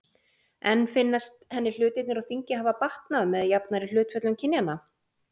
En finnast henni hlutirnir á þingi hafa batnað með jafnari hlutföllum kynjanna?